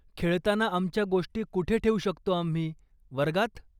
खेळताना आमच्या गोष्टी कुठे ठेऊ शकतो आम्ही, वर्गात?